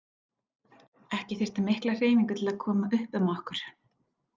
Ekki þyrfti mikla hreyfingu til að koma upp um okkur.